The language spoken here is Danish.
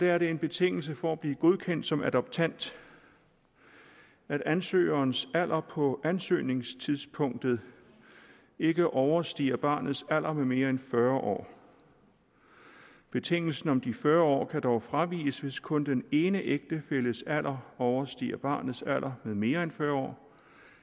er det en betingelse for at blive godkendt som adoptant at ansøgerens alder på ansøgningstidspunktet ikke overstiger barnets alder med mere end fyrre år betingelsen om de fyrre år kan dog fraviges hvis kun den ene ægtefælles alder overstiger barnets alder med mere end fyrre år